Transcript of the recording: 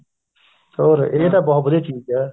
ਹੋਰ ਇਹ ਤਾਂ ਬਹੁਤ ਵਧੀਆ ਚੀਜ਼ ਏ